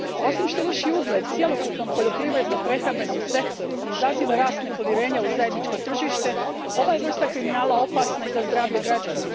Osim što ruši ugled cjelokupnom poljoprivredno prehrambenom sektoru i izaziva rast nepovjerenja u zajedničko tržište, ova je vrsta kriminala opasna i za zdravlje građana.